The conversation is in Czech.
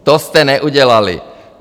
To jste neudělali.